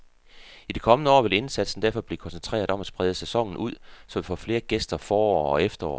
I de kommende år vil indsatsen derfor blive koncentreret om at sprede sæsonen ud, så vi får flere gæster forår og efterår.